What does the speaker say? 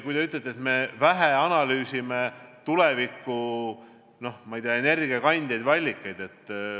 Te ütlete, et me analüüsime vähe tuleviku energiakandjaid või -allikaid.